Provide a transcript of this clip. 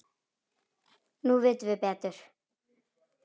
Nú vitum við betur.